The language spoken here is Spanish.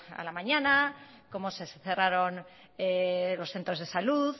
a la mañana cómo se cerraron los centros de salud